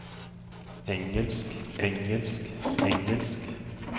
engelsk engelsk engelsk